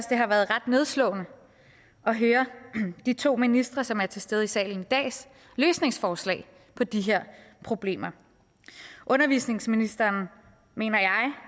det har været ret nedslående at høre de to ministre som er til stede i salen i dags løsningsforslag på de her problemer undervisningsministeren